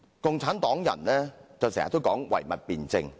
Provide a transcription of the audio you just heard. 共產黨人經常說唯物辯證法。